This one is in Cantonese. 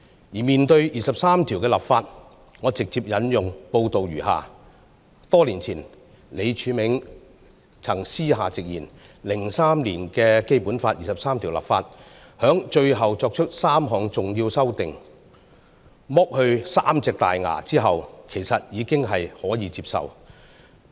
而關於第二十三條的立法，我直接引用報道如下："多年前，李柱銘就曾私下直言 ，03 年的《基本法》二十三條立法，在最後作出3項重要修訂，'剝去三隻大牙'後，其實已是可以接受。